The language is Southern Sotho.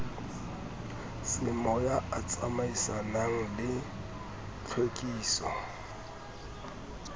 semoya a tsamaisanang le tlhwekiso